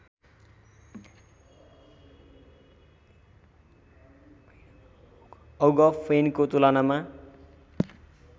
औंग फैनको तुलनामा